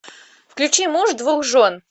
включи муж двух жен